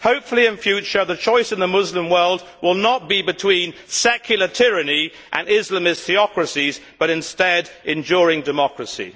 Hopefully, in future the choice in the Muslim world will not be between secular tyranny and Islamist theocracies but instead enduring democracy.